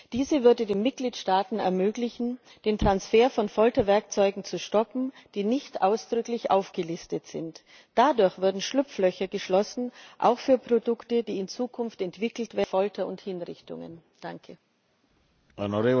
Diese würde den Mitgliedstaaten ermöglichen, den Transfer von Folterwerkzeugen zu stoppen, die nicht ausdrücklich aufgelistet sind. Dadurch würden Schlupflöcher geschlossen, auch für Produkte, die in Zukunft für Folter und Hinrichtungen entwickelt werden.